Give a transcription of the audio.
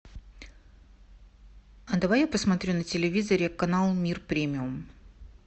а давай я посмотрю на телевизоре канал мир премиум